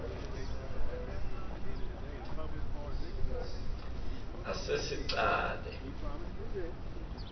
asesicale